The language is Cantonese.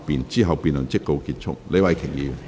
之後辯論即告結束。